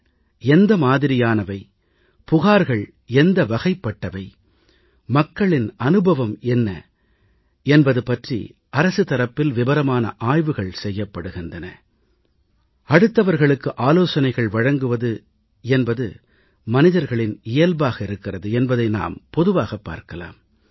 ஆலோசனை எந்த மாதிரியானவை புகார்கள் எந்த வகைப்பட்டவை மக்களின் அனுபவம் என்ன அடுத்தவர்களுக்கு ஆலோசனைகள் வழங்குவது என்பது மனிதர்களின் இயல்பாக இருக்கிறது என்பதை நாம் பொதுவாகப் பார்க்கலாம்